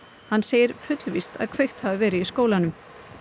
hann segir fullvíst að kveikt hafi verið í skólanum